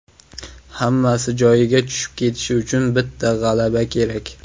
Hammasi joyiga tushib ketishi uchun bitta g‘alaba kerak.